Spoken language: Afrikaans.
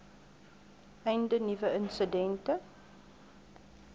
einde nuwe insidente